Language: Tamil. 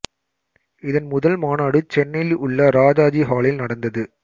இதன் முதல் மாநாடு சென்னையில் உள்ள ராஜாஜி ஹாலில் நடந்தது